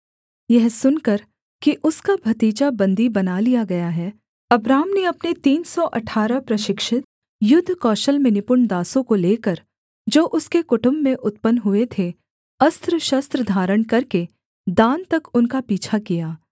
यह सुनकर कि उसका भतीजा बन्दी बना लिया गया है अब्राम ने अपने तीन सौ अठारह प्रशिक्षित युद्ध कौशल में निपुण दासों को लेकर जो उसके कुटुम्ब में उत्पन्न हुए थे अस्त्रशस्त्र धारण करके दान तक उनका पीछा किया